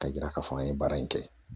Ka yira k'a fɔ an ye baara in kɛ